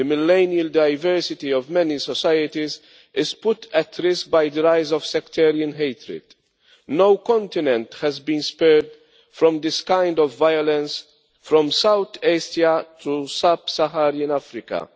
The millennial diversity of many societies is put at risk by the rise of the sectarian hatred. No continent has been spared from this kind of violence, from South Asia to Sub Saharan Africa.